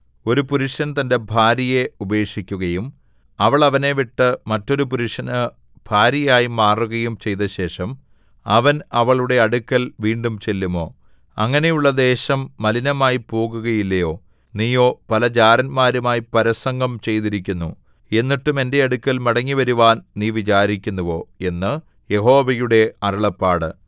ഒരു പുരുഷൻ തന്റെ ഭാര്യയെ ഉപേക്ഷിക്കുകയും അവൾ അവനെ വിട്ട് മറ്റൊരു പുരുഷന് ഭാര്യയായിമാറുകയും ചെയ്തശേഷം അവൻ അവളുടെ അടുക്കൽ വീണ്ടും ചെല്ലുമോ അങ്ങനെയുള്ള ദേശം മലിനമായിപ്പോകുകയില്ലയോ നീയോ പല ജാരന്മാരുമായി പരസംഗം ചെയ്തിരിക്കുന്നു എന്നിട്ടും എന്റെ അടുക്കൽ മടങ്ങിവരുവാൻ നീ വിചാരിക്കുന്നുവോ എന്ന് യഹോവയുടെ അരുളപ്പാട്